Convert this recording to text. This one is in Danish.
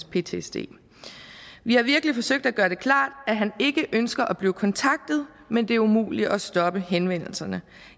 ptsd vi har virkelig forsøgt at gøre det klart at han ikke ønsker at blive kontaktet men det er umuligt at stoppe henvendelserne